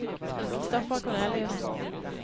Christoffer Korneliussen